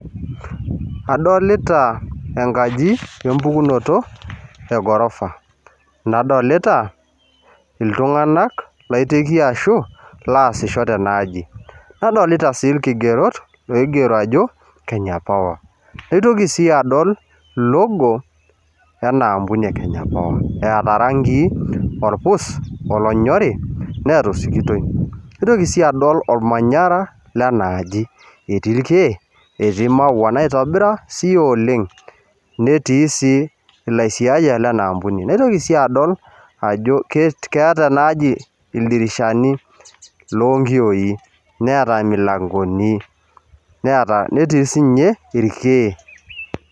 Adolta enkaji empukunoto engorofa nadolta ltunganak laiteki ajo loasisho tenaaji nadolta si irkigerot oigero ajo kenya power naitoki si adol logo enaampuni eeta rangii orpus olonyorj neata osikitoi naitoki si adol ormanyara lenaaji etii irkiek, etii irmaua oitobira si oleng netii si laisiayak lenaampuni naitoki adol ajo keeta enaaji ildirishani lonkiyoi neeta milankoni netiibsinye irkiek.